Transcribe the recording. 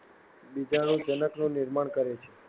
બીજાણુજનકનું નિર્માણ કરે છે.